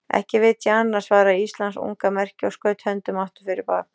Ekki veit ég annað, svaraði Íslands unga merki og skaut höndum aftur fyrir bak.